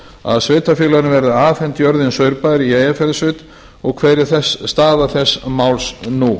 að sveitarfélaginu verði afhent jörðin saurbær í eyjafjarðarsveit og hver er staða þessa máls nú